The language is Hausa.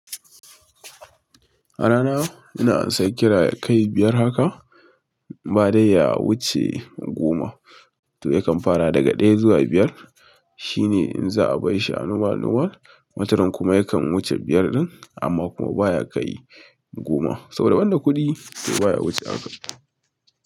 A rana ina ansar kira yakai biyar haka, ba dai ya wuce goma. To yakan farawa daga ɗaya zuwa biyar. Shine in za'a barshi normal, normal wataran kuma yakan huce biyar ɗin amma kuma baya kai goma. Saboda banda kuɗi so baya wuce hanka.